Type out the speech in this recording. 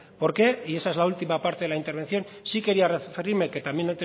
por qué y esa es la última parte de la intervención sí quería referirme que antes